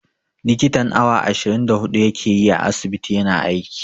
Likitan awa ashirin da huɗu ya ke yi a asibiti ya na aiki.